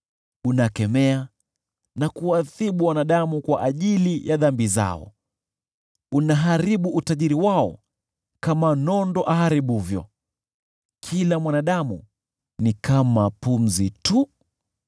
Unakemea na kuadhibu wanadamu kwa ajili ya dhambi zao; unaharibu utajiri wao kama nondo aharibuvyo: kila mwanadamu ni kama pumzi tu.